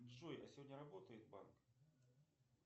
джой а сегодня работает банк